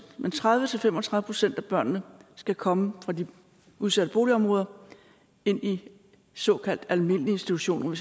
men tredive til fem og tredive procent af børnene skal komme fra udsatte boligområder ind i såkaldt almindelige institutioner